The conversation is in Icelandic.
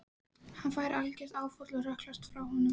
Hann fær algert áfall og hrökklast frá honum.